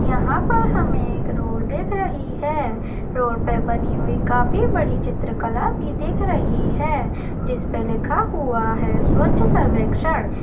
यहाँ पर हमें एक रोड दिख रही हैं रोड पर बनी हुई काफी बड़ी चित्रकला भी दिख रही हैं जिसपर लिखा हुआ हैं स्वच्छ सर्वेक्षण--